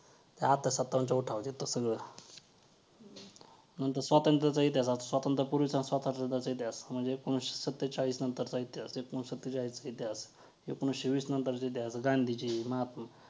steroid ने जीव ही जातो ,ह्या आजकालच्या मुलांना काही समजतच नाही.